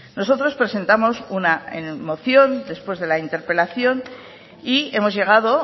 nosotros presentamos una moción después de la interpelación y hemos llegado